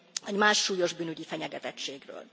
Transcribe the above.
vagy más súlyos bűnügyi fenyegetettségről.